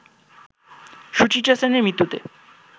সুচিত্রা সেনের মৃত্যুতে